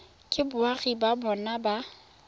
ke boagi ba bona ba